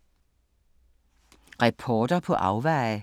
Reporter på afveje